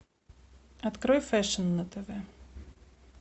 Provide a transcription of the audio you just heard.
открой фэшн на тв